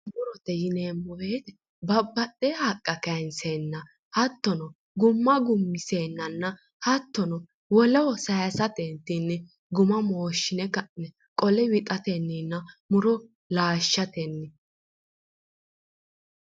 Murote yineemmo woyite babbaxxeyo haqqa kayinseenna hattono gumma gummiseennanna hattono woleho sayisateentinni guma mooshshine ka'ne qole wixatenninna muro laashshatenni.